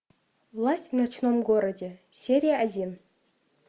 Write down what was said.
власть в ночном городе серия один